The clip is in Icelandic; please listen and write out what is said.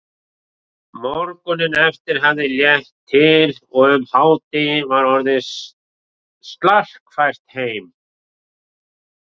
Morguninn eftir hafði létt til og um hádegi var orðið slarkfært heim.